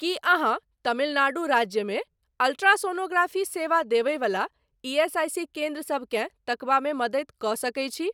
की अहाँ तमिल नाडु राज्यमे अल्ट्रासोनोग्राफी सेवा देबय बला ईएसआईसी केन्द्र सबकेँ तकबामे मदति कऽ सकैत छी?